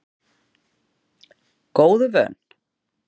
Góðu vön